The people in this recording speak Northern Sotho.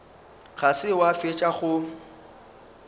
ga se wa fetša go